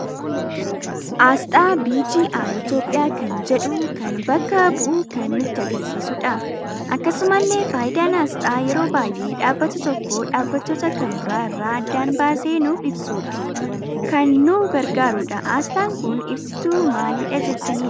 Asxaa BGI Itoophiyaa kan jedhu kan bakka bu'uu kan nutti agarsiisuudha. Akkasumalle fayidaan asxaa yeroo baay'ee dhabbata tokko dhaabbatoota kan bira irra addaan baasee nuuf ibsuudhaf kan nu gargaaruudha. Asxaan kun ibsituu maaliidha jettani yaaddu?